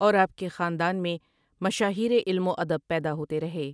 اور آپ کے خاندان میں مشاہیر علم و ادب پیدا ہوتے رہے ۔